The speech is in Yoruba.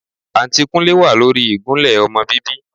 Àǹtí Kúnlé wà lórí ìgúnlẹ́ ọmọ bíbí